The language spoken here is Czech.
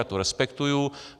Já to respektuji.